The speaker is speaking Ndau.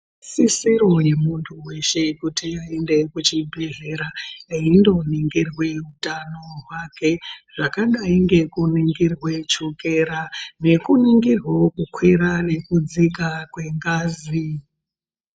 Isisirwa muntu weshe aende kuchi bhedhlera eindo ningirwa hutano hwake zvakadai kuningirwa chukera neku ningirwa wo kukwira nekudzika kwengazi.